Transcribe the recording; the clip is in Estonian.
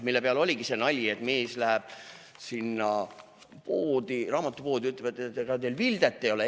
Selle peale oligi see nali, et mees läheb raamatupoodi ja küsib, et ega teil Vildet ei ole.